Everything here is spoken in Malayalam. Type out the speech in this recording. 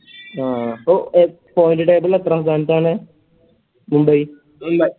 ആ അപ്പൊ point table ല് എത്രാം സ്ഥാനത്താണ് മുംബൈ